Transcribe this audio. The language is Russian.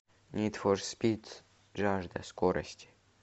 нид фор спид жажда скорости